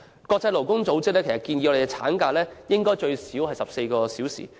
國際勞工組織建議，產假應最少14周。